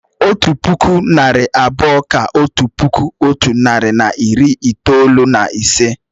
Otu puku, narị abụọ kà otu puku otu nari na iri itoolu na ise